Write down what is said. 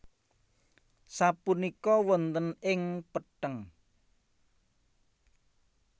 Sapunika wonten ing petheng